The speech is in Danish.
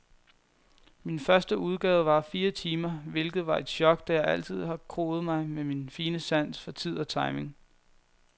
Min første udgave varede fire timer, hvilket var et chok, da jeg altid har kroet mig med min fine sans for tid og timing.